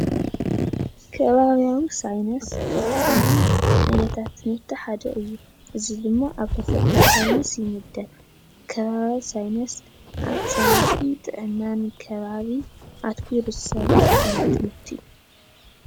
ከባቢያዊ ሳይነስ ካብቶም ዓይነታት ትምህርት ሓደ እዩ፡፡ እዚ ድማ ኣብ ተፈጥሮ ሳይነሰ ይምደብ፡፡ ከባቢ ሳይነሰ ኣብ ፅርየትን ጥዕና ከባቢ ኣትኩሩ ዝሰርሕ ዓይነት ትምህርት እዩ፡፡